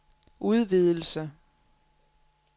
udvidelse